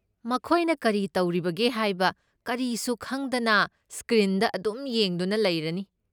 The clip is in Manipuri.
ꯃꯈꯣꯏꯅ ꯀꯔꯤ ꯇꯧꯔꯤꯕꯒꯦ ꯍꯥꯏꯕ ꯀꯔꯤꯁꯨ ꯈꯪꯗꯅ ꯁ꯭ꯀ꯭ꯔꯤꯟꯗ ꯑꯗꯨꯝ ꯌꯦꯡꯗꯨꯅ ꯂꯩꯔꯅꯤ꯫